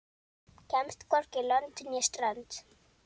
Kemst hvorki lönd né strönd.